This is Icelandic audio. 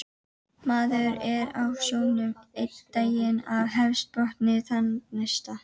Maður er á sjónum einn daginn og hafsbotni þann næsta